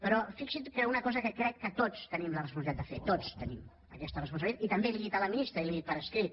però fixi’s en una cosa que crec que tots tenim la responsabilitat de fer tots tenim aquesta responsabilitat i també li ho he dit a la ministra i li ho he dit per escrit